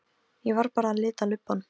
Ég var bara að lita lubbann.